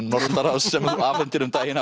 Norðurlandaráðs sem þú afhentir um daginn